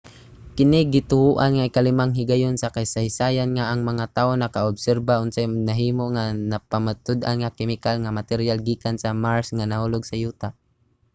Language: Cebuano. kini gituohan nga ikalimang higayon sa kasaysayan nga ang mga tawo nakaobserba unsay nahimo nga napamatud-an nga kemikal nga materyal gikan sa mars nga nahulog sa yuta